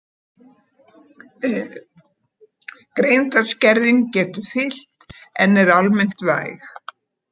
Greindarskerðing getur fylgt en er almennt væg.